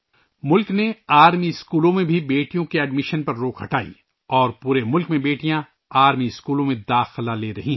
ملک نے سینک اسکولوں میں بیٹیوں کے داخلے پر پابندی بھی ہٹا دی ہے اور ملک بھر کے فوجی اسکولوں میں بیٹیاں داخلہ لے رہی ہیں